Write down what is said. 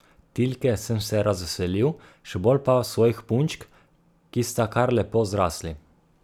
Tilke sem se razveselil, še bolj pa svojih punčk, ki sta kar lepo zrasli.